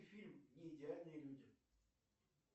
фильм неидеальные люди